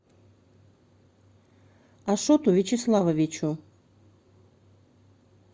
ашоту вячеславовичу